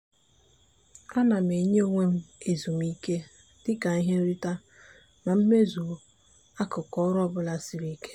a na m enye onwe m ezumike dịka ihe nrite ma m mezuo akụkụ ọrụ ọbụla siri ike.